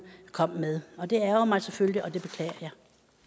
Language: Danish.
kom med det ærgrer mig selvfølgelig og det beklager